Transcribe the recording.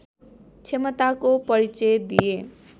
क्षमताको परिचय दिए